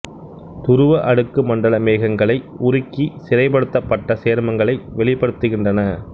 துருவ அடுக்கு மண்டல மேகங்களை உருக்கி சிறைப்படுத்தப்பட்ட சேர்மங்களை வெளிப்படுத்துகின்றன